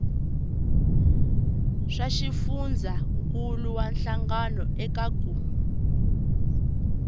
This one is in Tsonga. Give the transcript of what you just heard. swa xifundzankuluwa hlangano eka ku